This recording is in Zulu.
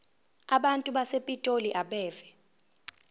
abantu basepitoli abeve